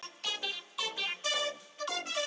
sem nú er kallað- hefur verið rík hjá þjóðinni.